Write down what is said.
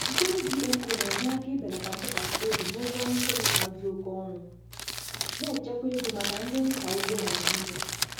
Mkpụrụ GMO na-enye aka ibelata ntụkwasị obi n’ụgwọ nri kemịkal dị oke ọnụ, na-echekwa ego maka ndị nta ugbo Naịjịrịa.